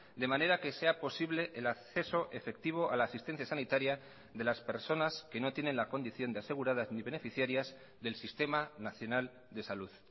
de manera que sea posible el acceso efectivo a la asistencia sanitaria de las personas que no tienen la condición de aseguradas ni beneficiarias del sistema nacional de salud